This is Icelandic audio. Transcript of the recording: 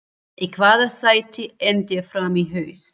Í hvaða sæti endar Fram í haust?